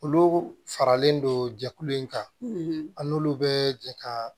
Olu faralen don jɛkulu in kan an n'olu bɛ jɛ ka